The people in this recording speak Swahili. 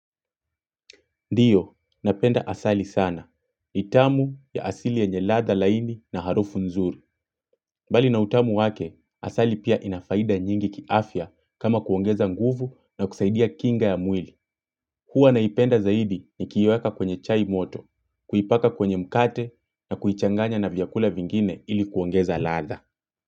Ndiyo, napenda asali sana. nI tamu ya asili yenye ladha laini na harufu nzuri. Bali na utamu wake, asali pia inafaida nyingi kiafya kama kuongeza nguvu na kusaidia kinga ya mwili. Huwa naipenda zaidi niki iweka kwenye chai moto, kuipaka kwenye mkate na kuichanganya na vyakula vingine ili kuongeza latha.